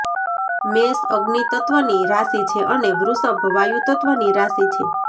મેષ અગ્નિ તત્વની રાશિ છે અને વૃષભ વાયુ તત્વની રાશિ છે